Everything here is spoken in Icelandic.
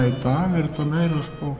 í dag er þetta meira